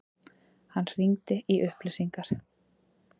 Hann hringdi í upplýsingar.